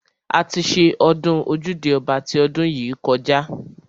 A ti ṣe ọdún ojúde ọba ti ọdún yìí kọjá.